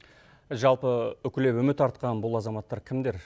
жалпы үкілеп үміт артқан бұл азаматтар кімдер